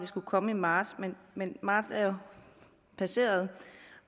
skulle komme i marts men marts er jo passeret